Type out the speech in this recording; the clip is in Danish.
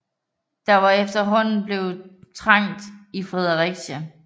Der var efterhånden blevet trangt i Fredericia